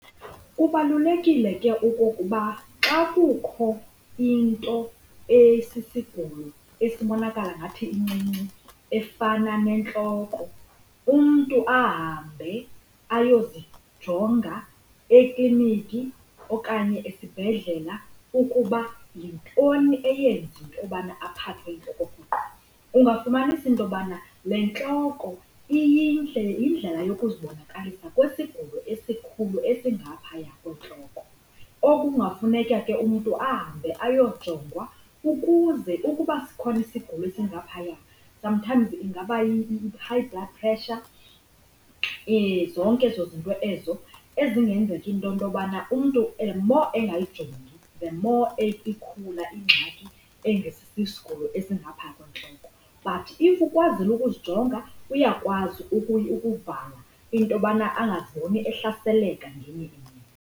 Kubalulekile ke okokuba xa kukho into esisigulo esibonakala ngathi incinci efana nentloko umntu ahambe ayozijonga ekliniki okanye esibhedlela ukuba yintoni eyenza into yobana aphathwe yintloko rhoqo. Ungafumanisa into yobana le ntloko yindlela yokuzibonakalisa kwesigulo esikhulu esingaphaya kwentloko. Okungafuneka ke umntu ahambe ayojongwa ukuze ukuba sikhona isigulo esingaphaya sometimes ingaba yi-High Blood Pressure, zonke ezo zinto ezo ezingenzeka into yobana umntu the more angayijongi the more ikhula ingxaki engesisigulo esingapha kwentloko. But if ukwazile ukuzijonga uyakwazi ukuvala into yobana angaziboni ehlaseleka ngenye imini.